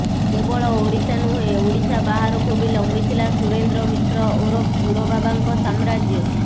କେବଳ ଓଡ଼ିଶା ନୁହେଁ ଓଡ଼ିଶା ବାହାରକୁ ବି ଲମ୍ୱି ଥିଲା ସୁରେନ୍ଦ୍ର ମିଶ୍ର ଓରଫ୍ ସୁର ବାବାଙ୍କ ସାମ୍ରାଜ୍ୟ